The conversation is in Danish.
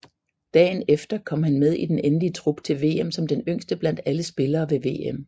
Dagen efter kom han med i den endelige trup til VM som den yngste blandt alle spillere ved VM